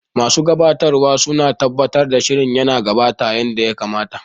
Masu gabatarwa suna tabbatar da shirin yana gudana yanda ya kamata.